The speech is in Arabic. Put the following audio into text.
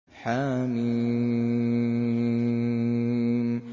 حم